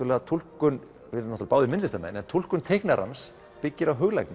túlkun við erum báðir myndlistarmenn túlkun teiknarans byggir á